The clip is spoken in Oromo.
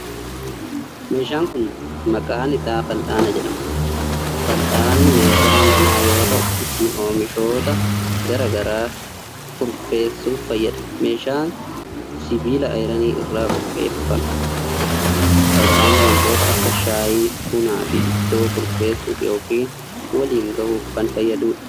Meeshaan kun, maqaan isaa fal'aana jedhama. Fal'aanni meeshaa manaa yoo ta'u ittiin oomishoota garaa garaa kurfeessuuf fayyada. Meeshaan sibiila ayiranii irraa qopheeffame. Fal'aanni wantoota akka:shaayii, buna fi ittoo kurfeessuuf yokin waliin gahuuf kan fayyaduu dha.